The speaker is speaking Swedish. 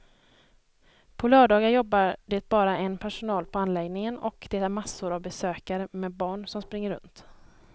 På lördagar jobbar det bara en personal på anläggningen och det är massor av besökare med barn som springer runt.